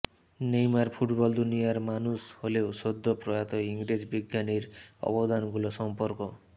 Neymar football দুনিয়ার মানুষ হলেও সদ্য প্রয়াত ইংরেজ বিজ্ঞানীর অবদানগুলো সম্পর্ক